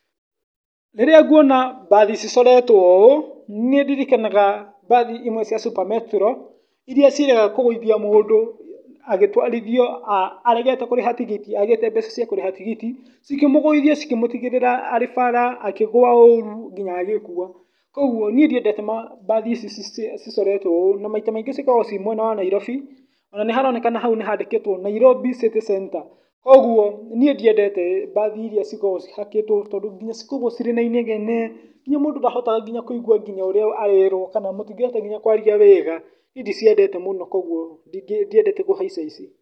Rĩrĩa nguona bathi cicoretwo ũũ, nĩ ndirikanaga bathi imwe cia Super Metro, iria ciĩrĩga kũgũithia mũndũ agwĩtwarithio aregete kũrĩha tigiti, agĩte mbeca cia kũrĩha tigiti, cikimũgũithia cikĩmũtiga arĩ bara akĩgũa ũru nginya agĩkua, koguo niĩ ndiendete bathi ici cicoretwo ũũ , na maita maingĩ cikoragwo mwena wa nairobi, ona nĩ haronekana hau nĩhandĩkĩtwo Nairobi city centre, koguo niĩ ndiendete bathi iria cikoragwo cihakĩtwo, tondũ nginya cikoragwo cirĩ na inegene, nginya mũndũ ndahotaga kũigwa nginya ũrĩa arerwo, kana nginya mũtingĩhota kwaria wega, niĩ ndiciendete mũno, koguo ndingĩ, ndiendete kũhaica ici.